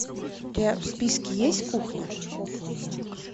у тебя в списке есть кухня